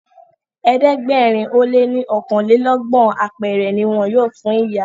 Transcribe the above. ẹ̀ẹ́dẹ̀gbẹ̀rin o lẹ ní okanlelogbon apẹrẹ ní wón yóò fún ìyá.